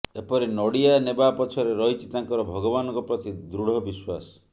ଏପରି ନଡ଼ିଆ ନେବା ପଛରେ ରହିଛି ତାଙ୍କର ଭଗବାନଙ୍କ ପ୍ରତି ଦୃଢ ବିଶ୍ୱାସ